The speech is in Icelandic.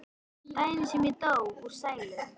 Daginn sem ég dó úr sælu.